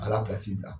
A la pilasi bila